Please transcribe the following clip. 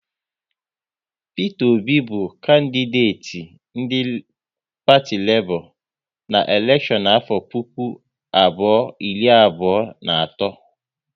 Peter Obi bụ kandideti ndị parti Lebọ na elekshon afọ puku abụọ iri abụọ na atọ